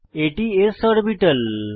এটি s orbital